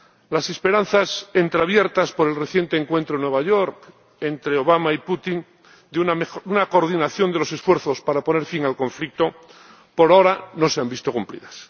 Las esperanzas, entreabiertas por el reciente encuentro en Nueva York entre Obama y Putin, de una coordinación de los esfuerzos para poner fin al conflicto por ahora no se han visto cumplidas.